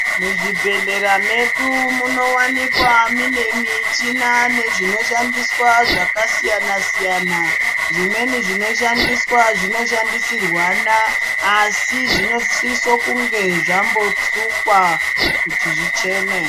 Muzvibhedhlera medu munowanikwa mune michina nezvinoshandiswa zvakasiyana siyana, zvimweni zvinoshandiswa zvinoshandisirwana asi zvinosise kunge zvambosukwa kuti zvichene.